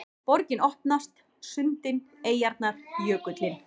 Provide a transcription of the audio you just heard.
Borgin opnast: sundin, eyjarnar, jökullinn